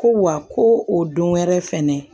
Ko wa ko o don wɛrɛ fɛnɛ